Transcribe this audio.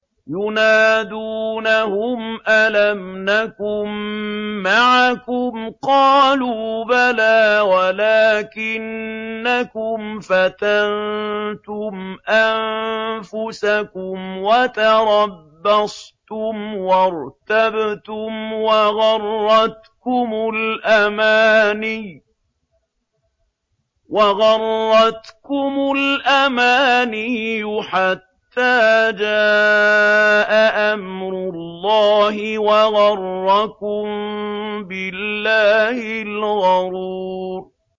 يُنَادُونَهُمْ أَلَمْ نَكُن مَّعَكُمْ ۖ قَالُوا بَلَىٰ وَلَٰكِنَّكُمْ فَتَنتُمْ أَنفُسَكُمْ وَتَرَبَّصْتُمْ وَارْتَبْتُمْ وَغَرَّتْكُمُ الْأَمَانِيُّ حَتَّىٰ جَاءَ أَمْرُ اللَّهِ وَغَرَّكُم بِاللَّهِ الْغَرُورُ